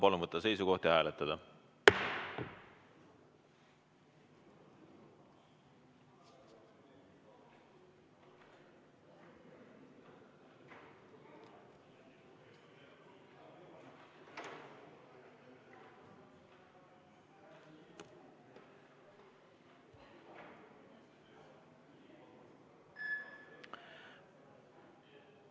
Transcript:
Palun võtta seisukoht ja hääletada!